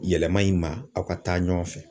Yɛlɛma in ma aw ka taa ɲɔgɔn fɛ